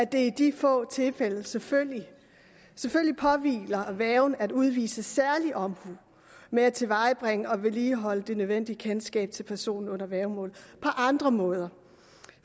det i de få tilfælde selvfølgelig påhviler værgen at udvise særlig omhu med at tilvejebringe og vedligeholde det nødvendige kendskab til personen under værgemål på andre måder